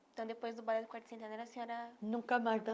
Então, depois do Balé do Quarto Centenário, a senhora nunca mais